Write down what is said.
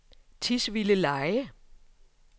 Tisvildeleje